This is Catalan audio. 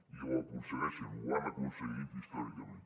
i ho aconsegueixen ho han aconseguit històricament